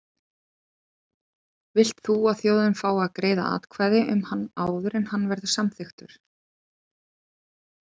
Vilt þú að þjóðin fái að greiða atkvæði um hann áður en hann verður samþykktur?